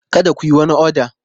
Kada ku yi wani oda!